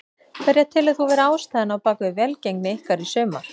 Hverja telur þú vera ástæðuna á bakvið velgengni ykkar í sumar?